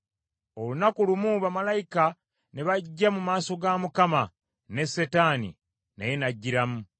Olunaku lumu, bamalayika ne bajja mu maaso ga Mukama , ne Setaani naye n’ajjiramu.